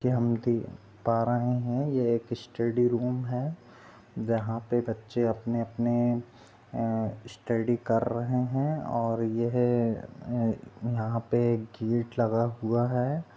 की हम देख पा रहे है यह एक स्टडी रूम है यहाँ पर बच्चे अपने अपने स्टडी कर रहे है और यह यहाँ पे गेट लगा हुआ है।